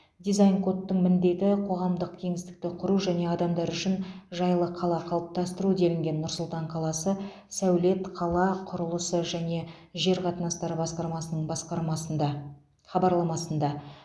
дизайн кодтың міндеті қоғамдық кеңістікті құру және адамдар үшін жайлы қала қалыптастыру делінген нұр сұлтан қаласы сәулет қала құрылысы және жер қатынастары басқармасының басқармасында хабарламасында